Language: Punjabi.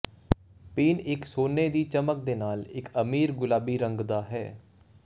ਪੀਣ ਇੱਕ ਸੋਨੇ ਦੀ ਚਮਕ ਦੇ ਨਾਲ ਇੱਕ ਅਮੀਰ ਗੁਲਾਬੀ ਰੰਗ ਦਾ ਹੈ